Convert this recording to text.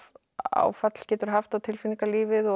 áfall getur haft á tilfinningalífið og